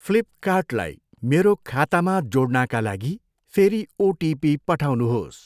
फ्लिपकार्टलाई मेरो खातामा जोड्नाका लागि फेरि ओटिपी पठाउनुहोस्।